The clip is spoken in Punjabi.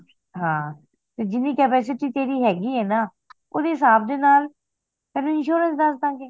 ਹਾਂ ਤੇ ਜਿਹਨੀ capacity ਤੇਰੀ ਹੈਗੀਏ ਨਾ ਓਹਦੇ ਹਿਸਾਬ ਦੇ ਨਾਲ ਤੈਨੂੰ insurance ਦੱਸ ਦਾ ਗੇ